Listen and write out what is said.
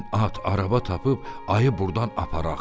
Gəlin at araba tapıb ayı burdan aparaq.